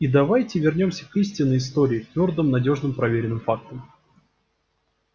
и давайте вернёмся к истинной истории к твёрдым надёжным проверенным фактам